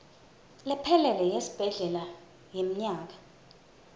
lephelele yesibhedlela yemnyaka